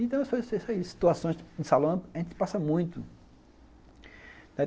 Então essas situações de salão, a gente passa muito.